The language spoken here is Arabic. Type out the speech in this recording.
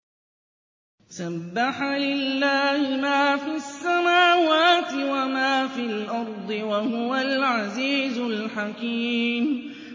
سَبَّحَ لِلَّهِ مَا فِي السَّمَاوَاتِ وَمَا فِي الْأَرْضِ ۖ وَهُوَ الْعَزِيزُ الْحَكِيمُ